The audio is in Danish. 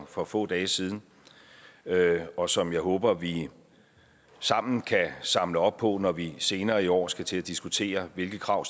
for få dage siden og som jeg håber vi sammen kan samle op på når vi senere i år skal til at diskutere hvilke krav